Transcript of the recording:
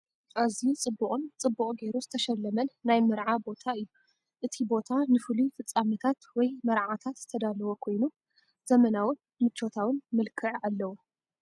ኣዝዩ ጽብቕን ጽቡቕ ጌሩ ዝተሸለመን ናይ መርዓ ቦታ እዩ። እቲ ቦታ ንፍሉይ ፍጻመታት ወይ መርዓታት ዝተዳለወ ኮይኑ፡ ዘመናውን ምቾታውን መልክዕ ኣለዎ።